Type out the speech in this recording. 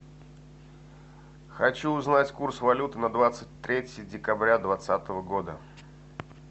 хочу узнать курс валюты на двадцать третье декабря двадцатого года